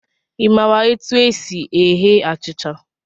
I maara etu e si eghe achịcha?